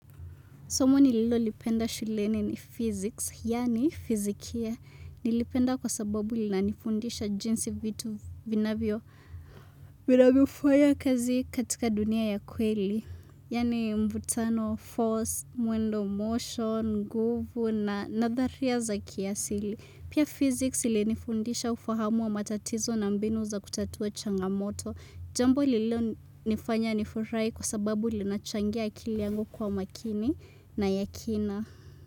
Somo nililolipenda shuleni ni physics, yaani fizikia. Nilipenda kwa sababu linanifundisha jinsi vitu vinavyo, vinavyofanya kazi katika dunia ya kweli. Yaani mvutano, force, muendo motion, nguvu na nadharia za kiasili. Pia physics ilinifundisha ufahamu wa matatizo na mbinu za kutatua changamoto. Jambo lilonifanya nifurahi kwa sababu linachangia akili yangu kuwa makini na ya kina.